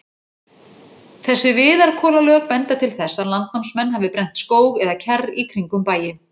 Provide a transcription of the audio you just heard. Þessi viðarkolalög benda til þess, að landnámsmenn hafi brennt skóg eða kjarr í kringum bæi.